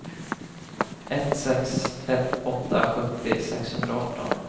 ett sex ett åtta sjuttio sexhundraarton